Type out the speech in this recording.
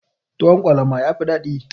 Tuwon kwalama yafi dadi.